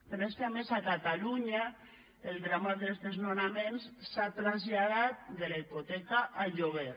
però és que a més a catalunya el drama dels desnonaments s’ha traslladat de la hipoteca al lloguer